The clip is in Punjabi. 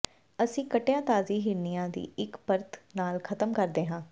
ਅਸੀਂ ਕੱਟਿਆ ਤਾਜ਼ੀ ਹਿਰਨੀਆਂ ਦੀ ਇੱਕ ਪਰਤ ਨਾਲ ਖਤਮ ਕਰਦੇ ਹਾਂ